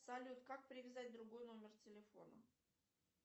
салют как привязать другой номер телефона